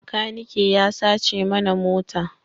Makaniki ya sace mana mota